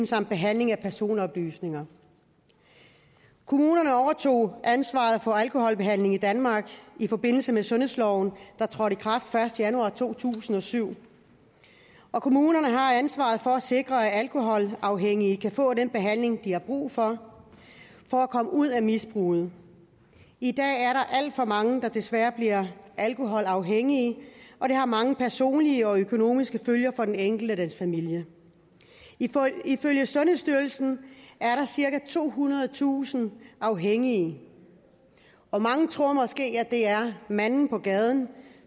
samt behandling af personoplysninger kommunerne overtog ansvaret for alkoholbehandlingen i danmark i forbindelse med sundhedsloven der trådte i kraft den første januar to tusind og syv kommunerne har ansvaret for at sikre at alkoholafhængige kan få den behandling de har brug for for at komme ud af misbruget i dag er der alt for mange der desværre bliver alkoholafhængige og det har mange personlige og økonomiske følger for den enkeltes familie ifølge sundhedsstyrelsen er der cirka tohundredetusind afhængige og mange tror at det måske er manden på gaden